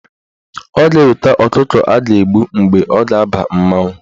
Ọ ga-eweta ọkụkọ a ga-agbụ mgbe ọ ga-aba mmanwụ.